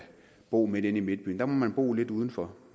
bo inde i midtbyen der må man bo lidt udenfor